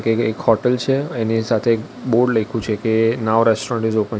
અહિયા એક હોટલ છે એની સાથે એક બોર્ડ લઈખુ છે કે નાવ રેસ્ટોરન્ટ ઈઝ ઓપન .